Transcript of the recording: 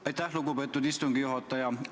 Aitäh, lugupeetud istungi juhataja!